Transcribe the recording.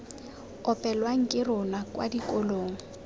opelwang ke rona kwa dikolong